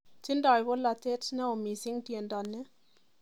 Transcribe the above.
Tindoy bolatet neo mising' tiendo ni